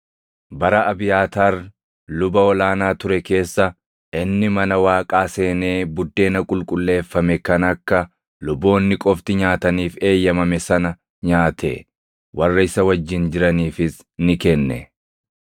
Bara Abiyaataar luba ol aanaa ture keessa, inni mana Waaqaa seenee buddeena qulqulleeffame kan akka luboonni qofti nyaataniif eeyyamame sana nyaate. Warra isa wajjin jiraniifis ni kenne.”